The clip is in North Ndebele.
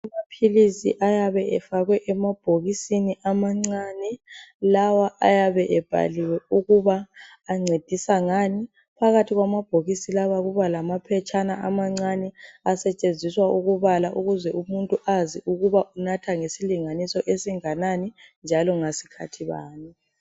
Amaphilisi ayabe efakwe emabhokisini amancane lawa ayabe ebhaliwe ukuba ancedisa ngani. Phakathi kwamabhokisi lawa kubalamaphetshana amancane asetshenziswa ukubala ukuze umuntu azi ukuthi unatha ngesilinganiso esinganani njalo ngasikhathi bani.